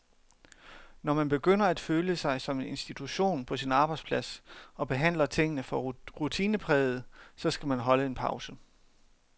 Når man begynder at føle sig som en institution på sin arbejdsplads og behandler tingene for rutinepræget, så skal man holde en pause.